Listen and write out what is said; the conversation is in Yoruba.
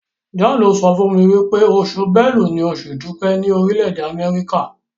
John sọfún mí wípé Oṣù Bélú ní Oṣù idupẹ ni Orile-ede Amẹrika.